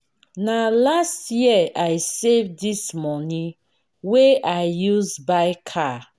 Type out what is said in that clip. na last year i save dis moni wey i use buy car.